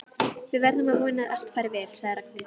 Við verðum að vona að allt fari vel sagði Ragnhildur.